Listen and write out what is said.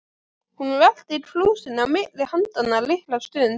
Hún velti krúsinni á milli handanna litla stund.